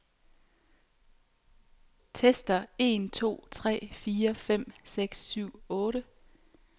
Tester en to tre fire fem seks syv otte.